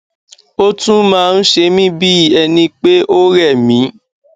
ó tún máa ń se mí bí ẹni pé ó rẹ mí